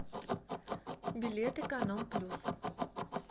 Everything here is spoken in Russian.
билет эконом плюс